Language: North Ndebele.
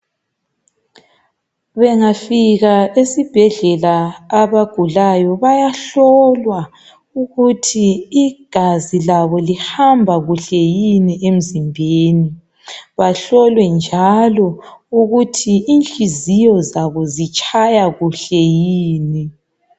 Bengafika esibhedlela abagulayo bayahlolwa ukuthi igazi labo lihamba kuhle yini emzimbeni. Bahlolwe njalo ukuthi inhliziyo zabo zitshaya kuhle yini.